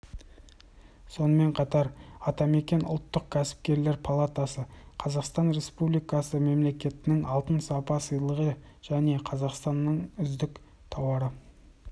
сонымен қатар атамекен ұлттық кәсіпкерлер палатасы қазақстан республикасы президентінің алтын сапа сыйлығына және қазақстанның үздік тауары